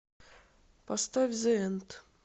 поставь зэ энд